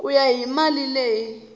ku ya hi mali leyi